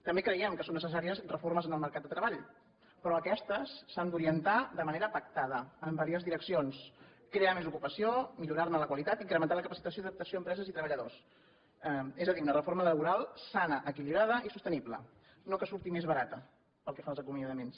també creiem que són necessàries reformes en el mercat de treball però aquestes s’han d’orientar de manera pactada en diverses direccions crear més ocupació millorar ne la qualitat i incrementar la capacitació i adaptació a empreses i treballadors és a dir una reforma laboral sana equilibrada i sostenible no que surti més barata pel que fa als acomiadaments